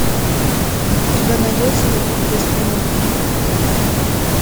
у тебя найдется любовь без тормозов